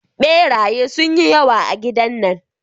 Beraye sun yi yawa a gidan nan.